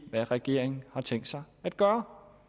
hvad regeringen har tænkt sig at gøre